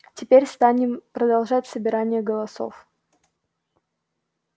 теперь станем продолжать собирание голосов